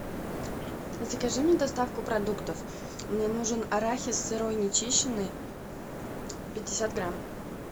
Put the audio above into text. закажи мне доставку продуктов мне нужен арахис сырой нечищенный пятьдесят грамм